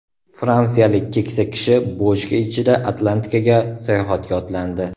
Fransiyalik keksa kishi bochka ichida Atlantikaga sayohatga otlandi.